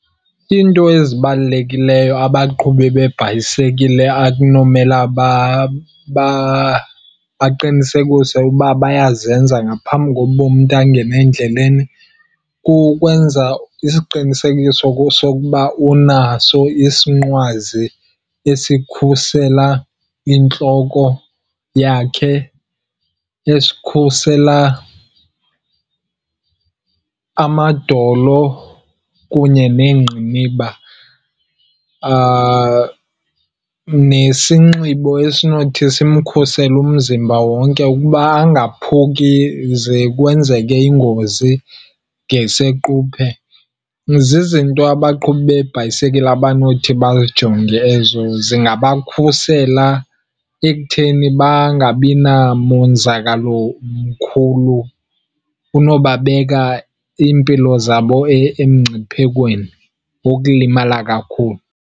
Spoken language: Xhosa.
Iinto ezibalulekileyo abaqhubi beebhayisikile akunomela baqinisekise uba bayazenza ngaphambi kokuba umntu angene endleleni, kukwenza isiqinisekiso sokuba unaso isinqwazi esikhusela intloko yakhe, esikhusela amadolo kunye neengqiniba, nesinxibo esinothi simkhusele umzimba wonke ukuba angaphuki ze kwenzeke ingozi ngesequphe. Zizinto abaqhubi beebhayisekile abanothi bazijonge ezo. Zingabakhusela ekutheni bangabi namonzakalo mkhulu unobabeka iimpilo zabo emngciphekweni wokulimala kakhulu.